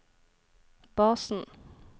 basen